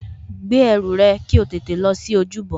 Gbé ẹrù rẹ kí o tẹ̀lé lọ sí ojúbọ